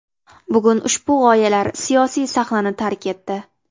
Bugun ushbu g‘oyalar siyosiy sahnani tark etdi.